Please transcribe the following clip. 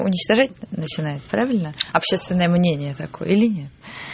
уничтожать начинает правильно общественное мнение такое или нет